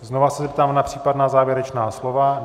Znovu se zeptám na případná závěrečná slova.